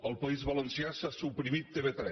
al país valencià s’ha suprimit tv3